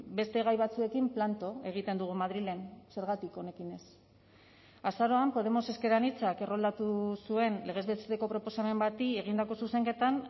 beste gai batzuekin planto egiten dugu madrilen zergatik honekin ez azaroan podemos ezker anitzak erroldatu zuen legez besteko proposamen bati egindako zuzenketan